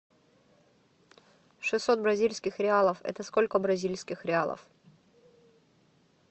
шестьсот бразильских реалов это сколько бразильских реалов